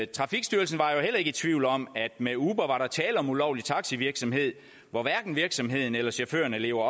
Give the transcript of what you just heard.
trafikstyrelsen var i tvivl om at med uber var der tale om ulovlig taxivirksomhed hvor hverken virksomheden eller chaufførerne lever